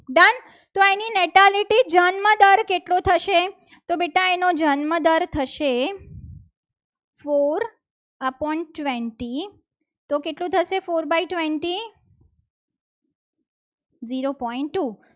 શરૂ થશે. તો બેટા એનો જન્મ દર થશે. ફોર upon ટવેન્તોટી કેટલું થશે four by twenty zero point two